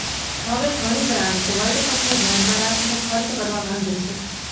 હવે ઘણી brands world કપને ધ્યાનમાં રાખીને ખર્ચ કરવા માંગે છે